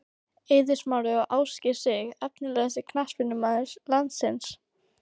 Eiður Smári og Ásgeir Sig Efnilegasti knattspyrnumaður landsins?